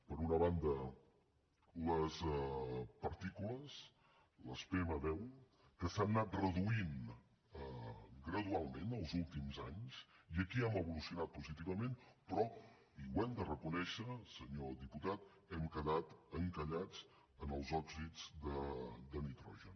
per una banda les partícules les pm10 que s’han anat reduint gradualment els últims anys i aquí hem evolucionat positivament però i ho hem de reconèixer senyor diputat hem quedat encallats en les òxids de nitrogen